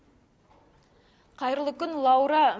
қайырлы күн лаура